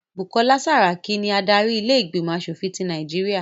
Bukola Saraki ni adarí ilé ìgbìmọ̀ aṣòfin tí Nàìjíríà